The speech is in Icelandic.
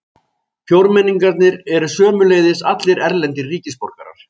Fjórmenningarnir eru sömuleiðis allir erlendir ríkisborgarar